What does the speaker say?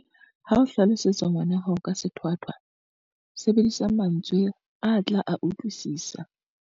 Ha o hlalosetsa ngwana hao ka sethwathwa, sebedisa mantswe a tla a utlwisisa.